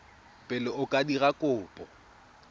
pele o ka dira kopo